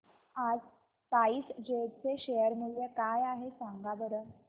आज SpiceJet चे share मूल्य काय आहे सांगा बरं